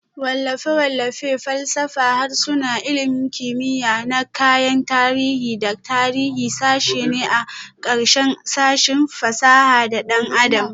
Wallafe-wallafe, falsafa, harsuna, ilmin kimiya na kayan tarihi da tarihi sashe ne a ƙarƙashin sashin fasaha da ɗan adam